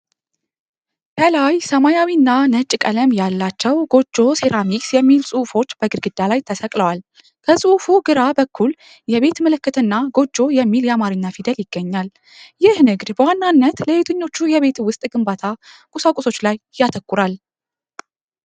ከላይ ሰማያዊና ነጭ ቀለም ያላቸው ጎጆ ሴራሚክስ የሚል ጽሑፎች በግድግዳ ላይ ተሰቅለዋል። ከጽሑፉ ግራ በኩል የቤት ምልክትና ጎጆ የሚል የአማርኛ ፊደል ይገኛል፤ ይህ ንግድ በዋናነት ለየትኞቹ የቤት ውስጥ ግንባታ ቁሳቁሶች ላይ ያተኩራል?